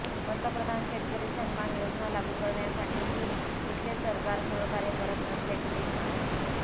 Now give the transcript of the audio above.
पंतप्रधान शेतकरी सन्मान योजना लागू करण्यासाठीही इथले सरकार सहकार्य करत नसल्याचे ते म्हणाले